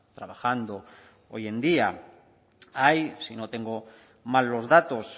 trabajando hoy en día hay si no tengo mal los datos